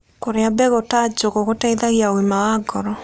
Kũrĩa mbegũ ta njũgũ gũteĩthagĩa ũgima wa ngoro